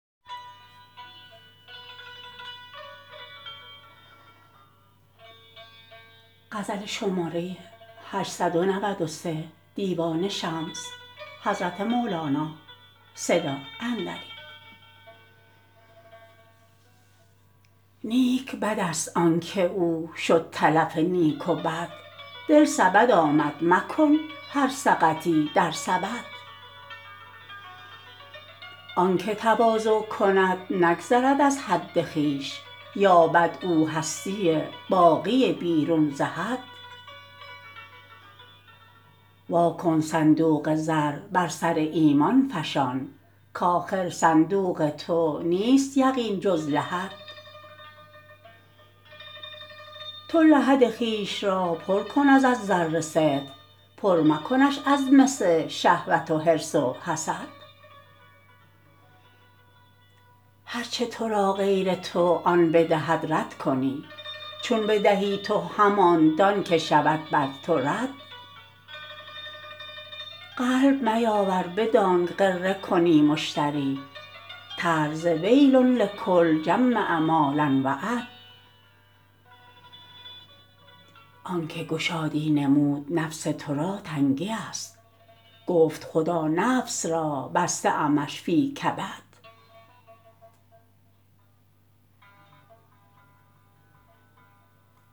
نیک بدست آنک او شد تلف نیک و بد دل سبد آمد مکن هر سقطی در سبد آنک تواضع کند نگذرد از حد خویش یابد او هستی باقی بیرون ز حد وا کن صندوق زر بر سر ایمان فشان کآخر صندوق تو نیست یقین جز لحد تو لحد خویش را پر کن از زر صدق پر مکنش از مس شهوت و حرص و حسد هر چه تو را غیر تو آن بدهد رد کنی چون بدهی تو همان دانک شود بر تو رد قلب میاور بدانک غره کنی مشتری ترس ز ویل لکل جمع مالاوعد آنک گشادی نمود نفس تو را تنگیست گفت خدا نفس را بسته امش فی کبد